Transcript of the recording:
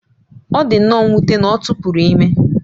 Ọ dị nnọọ mwute na ọ tụpụrụ ime